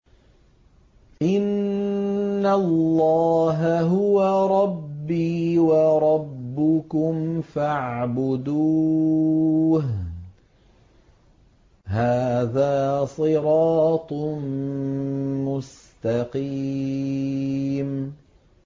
إِنَّ اللَّهَ هُوَ رَبِّي وَرَبُّكُمْ فَاعْبُدُوهُ ۚ هَٰذَا صِرَاطٌ مُّسْتَقِيمٌ